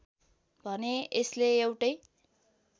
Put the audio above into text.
भने यसले एउटै